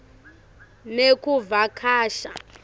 nekuvakasha